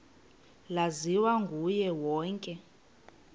laziwa nguye wonke